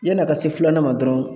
Yan'a ka se filanan ma dɔrɔn